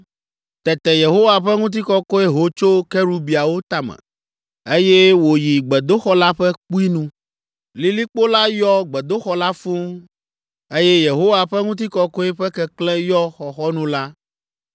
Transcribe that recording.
Tete Yehowa ƒe ŋutikɔkɔe ho tso kerubiawo tame, eye wòyi gbedoxɔ la ƒe kpui nu. Lilikpo la yɔ gbedoxɔ la fũu, eye Yehowa ƒe ŋutikɔkɔe ƒe keklẽ yɔ xɔxɔnu la.